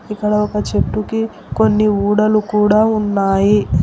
ఇక్కడ ఒక చెట్టుకి కొన్ని ఊడలు కూడా ఉన్నాయి.